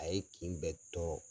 A ye kin bɛɛ tɔrɔ.